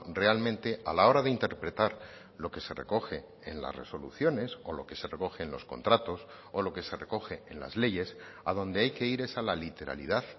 realmente a la hora de interpretar lo que se recoge en las resoluciones o lo que se recoge en los contratos o lo que se recoge en las leyes a donde hay que ir es a la literalidad